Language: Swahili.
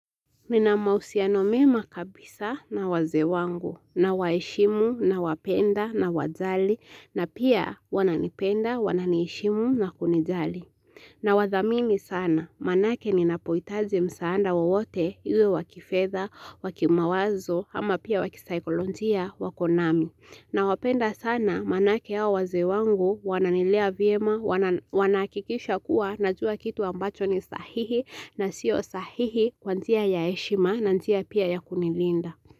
Nina mahusiano mema kabisa na wazee wangu, na waheshimu, na wapenda, na wajali, na pia wananipenda, wananiheshimu, na kunijali. Na wadhamini sana, maana yake ninapo hitaji msaada wowote, iwe wakifedha, wakimawazo, ama pia wakisaikolojia, wako nami. Na wapenda sana, maana yake hawa wazee wangu, wananilea vyema, wanakikisha kuwa, najua kitu ambacho ni sahihi, na siyo sahihi kwa njia ya heshima, na njia pia ya kunilinda.